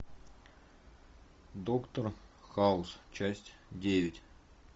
доктор хаус часть девять